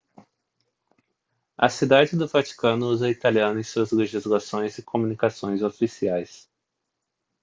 a cidade do vaticano usa o italiano em suas legislações e comunicações oficiais